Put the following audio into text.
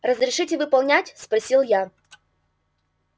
разрешите выполнять спросил я